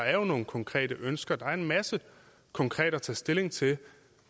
er nogle konkrete ønsker der er en masse konkret at tage stilling til